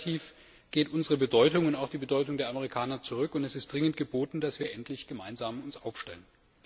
Das heißt, relativ geht unsere Bedeutung und auch die Bedeutung der Amerikaner zurück, und es ist dringend geboten, dass wir uns endlich gemeinsam aufstellen.